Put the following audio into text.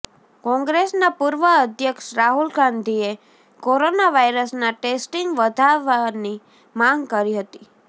કોંગ્રેસના પૂર્વ અધ્યક્ષ રાહુલ ગાંધીએ કોરોના વાયરસના ટેસ્ટિંગ વધારવાની માગ કરી હતી